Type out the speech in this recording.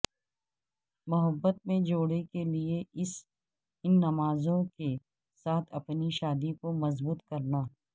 محبت میں جوڑے کے لئے ان نمازوں کے ساتھ اپنی شادی کو مضبوط کرنا